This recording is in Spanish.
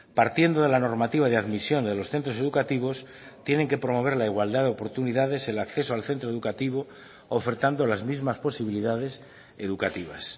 partiendo de la normativa de admisión de los centros educativos tienen que promover la igualdad de oportunidades el acceso al centro educativo ofertando las mismas posibilidades educativas